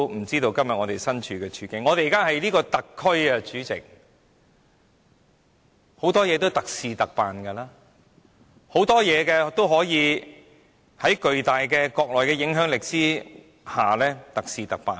主席，我們現時是一個特區，很多事情是特事特辦的，有很多事情也可以在國內巨大的影響力下特事特辦。